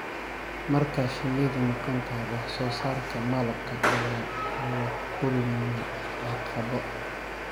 Marka shinnidu maqan tahay, wax-soo-saarka malabka ayaa la kulma caqabado.